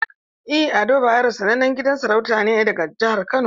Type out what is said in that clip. En Ado bayero sanannen gidan sarauta ne daga jihar kano.